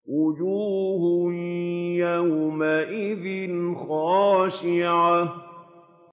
وُجُوهٌ يَوْمَئِذٍ خَاشِعَةٌ